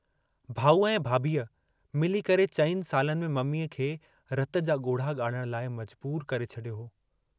भाऊअ ऐं भाभीअ मिली करे चइनि सालनि में मम्मीअ खे रत जा ॻोढ़हा ॻाणणु लाइ मजबूर करे छॾियो हो।